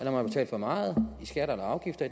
har betalt for meget i skatter eller afgifter